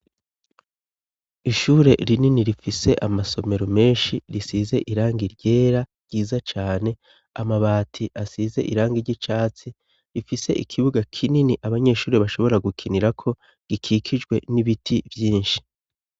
ishure rinini rifise amasomero menshi risize iranga ryera ryiza cane amabati asize iranga igicatsi rifise ikibuga kinini abanyeshuri bashobora gukinira ko gikikijwe n'ibiti vyinshi